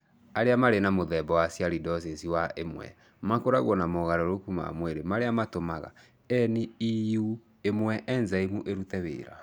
Arĩa marĩ na mũthemba wa sialidosis wa I makoragwo na mogarũrũku ma mwĩrĩ marĩa matũmaga NEU1 enzyme ĩrute wĩra.